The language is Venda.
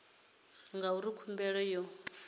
tshi ya ngauri khumbelo yo